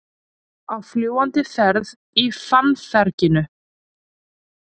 Á fljúgandi ferð í fannferginu